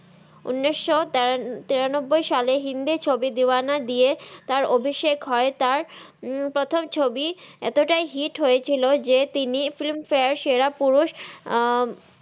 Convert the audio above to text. উনিস তেরানাব্বাই সালে হিন্দি ছবি দেওানা দিয়ে তার অভিসেখ হই তার প্রথম ছবি এততাই হিট হয়েছিল যে তিনি ফিম ফারে সেরা পুরুস